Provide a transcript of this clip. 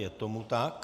Je tomu tak.